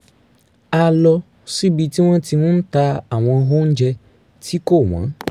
a lọ síbi tí wọ́n ti ń ta àwọn oúnjẹ tí kò wọ́n